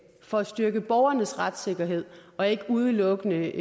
for at styrke borgernes retssikkerhed og ikke udelukkende